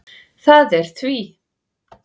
Það var því